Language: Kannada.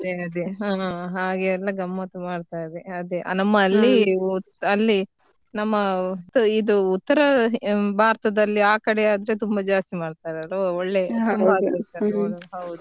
ಅದೇ ಅದೇ ಹಾಗೆಲ್ಲಾ ಗಮ್ಮತ್ ಮಾಡ್ತಾರೆ ಅದೇ ನಮ್ಮಲ್ಲಿ ಅಲ್ಲಿ ನಮ್ಮ ಇದು ಉತ್ತರ ಭಾರತದಲ್ಲಿ ಆ ಕಡೆ ಆದ್ರೆ ತುಂಬಾ ಜಾಸ್ತಿ ಮಾಡ್ತಾರೆ ಅದು ಅಲ್ಲಿ . ಹೌದು.